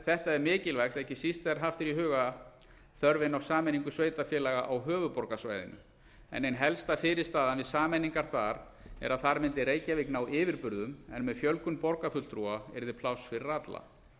þetta er mikilvægt ekki síst þegar haft er í huga þörfin á sameiningu sveitarfélaga á höfuðborgarsvæðinu en ein helsta fyrirstaðan við sameiningar þar er að þar mundi reykjavík ná yfirburðum en með fjölgun borgarfulltrúa yrði pláss fyrir alla